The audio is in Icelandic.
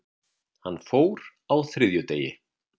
Hann fór á þriðjudegi.